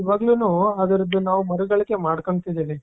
ಇವಾಗ್ಲೂನೂ ಅದನ್ನು ನಾವು ಮರುಗಳಿಕೆ ಮಾಡ್ಕೊಳ್ಳುತ್ತಿದ್ದೇವೆ.